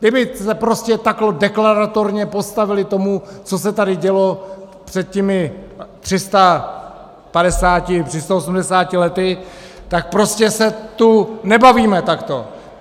Kdyby se prostě takto deklaratorně postavili tomu, co se tady dělo před těmi 350, 380 lety, tak prostě se tu nebavíme takto.